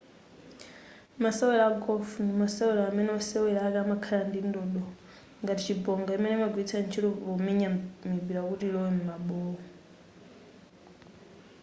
masewero a golf ndi masewero amene wosewera ake amakhala ndi ndodo ngati chibonga imene amagwiritsa ntchito pomenya mipira kuti ilowe m'mabowo